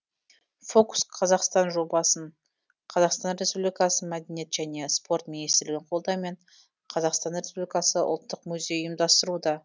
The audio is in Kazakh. фокус қазақстан жобасын қазақстан республикасы мәдениет және спорт министрлігінің қолдауымен қазақстан республикасы ұлттық музейі ұйымдастыруда